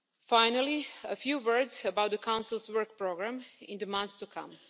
Finally, a few words about the Council's work programme in the months to come.